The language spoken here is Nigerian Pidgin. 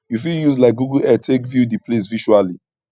you fit use like google earth take view di place visually